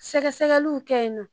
Sɛgɛsɛgɛliw kɛ yen nɔ